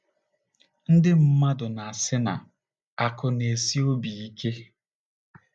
NDỊ mmadụ na - asị na “ akụ̀ na - esi obi ike. ”